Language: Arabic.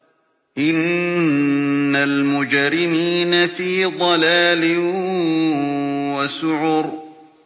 إِنَّ الْمُجْرِمِينَ فِي ضَلَالٍ وَسُعُرٍ